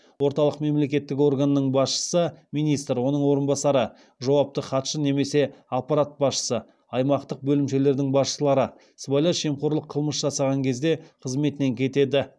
орталық мемлекеттік органның басшысы оның орынбасарлары жауапты хатшы немесе аппарат басшысы аймақтық бөлімшелердің басшылары сыбайлас жемқорлық қылмыс жасаған кезде қызметінен кетеді